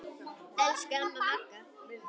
Elsku amma Magga.